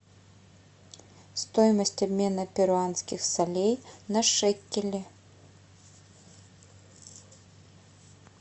стоимость обмена перуанских солей на шекели